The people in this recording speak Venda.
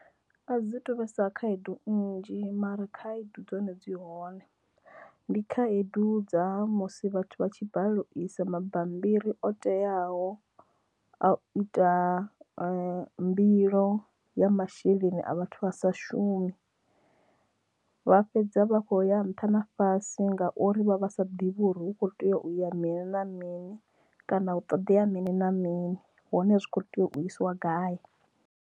A dzi tu vhesa khaedu nnzhi mara khaedu dzone dzi hone dzi hone ndi khaedu dza musi vha tshi balelwa u isa mabammbiri o teaho a ita mbilo ya masheleni a vhathu vha sa shumi vha fhedza vha kho ya nṱha na fhasi ngauri vha vha sa ḓivhi uri hukho tea uya mini na mini kana hu ṱoḓea mini na mini hone zwi kho tea u isiwa gai.